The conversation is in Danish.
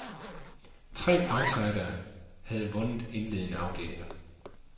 Tre outsidere havde vundet indledende afdelinger.